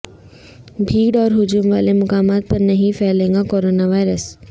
بھیڑ اور ہجوم والے مقامات پر نہیں پھیلے گا کورونا وائرس